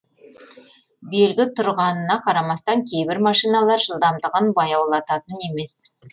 белгі тұрғанына қарамастан кейбір машиналар жылдамдығын баяулататын емес